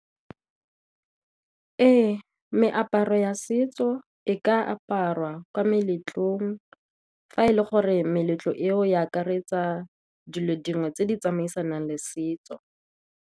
Ee, meaparo ya setso e ka aparwa ko meletlong fa e le gore meletlo eo e akaretsa dilo dingwe tse di tsamaisanang le setso.